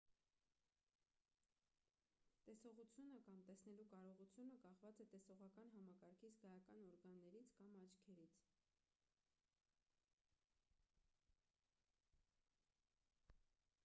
տեսողությունը կամ տեսնելու կարողությունը կախված է տեսողական համակարգի զգայական օրգաններից կամ աչքերից